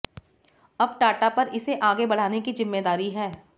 अब टाटा पर इसे आगे बढ़ाने की जिम्मेदारी है